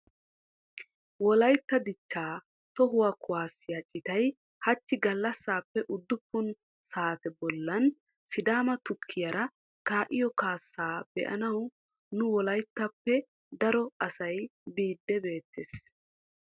Wolaytta dichchaa tohuwaa kaassaa citay hachchi gallasaappe uddufun saate bollan sidaama tukkitiyaara kaa'iyoo kaasaa be'anaw nu wolayttappe daro asay biidi beettees.